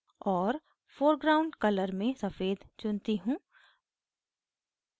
और foreground colour में सफ़ेद चुनती हूँ